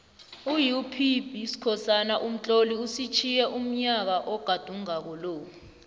upbskhosana umtloli usitjhiye unyaka ogadungako lo